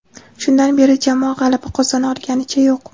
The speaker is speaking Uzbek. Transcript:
Shundan beri jamoa g‘alaba qozona olganicha yo‘q.